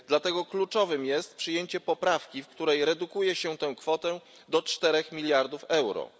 Dlatego kluczowym jest przyjęcie poprawki, w której redukuje się tę kwotę do 4 mld euro.